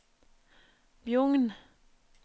Bjugn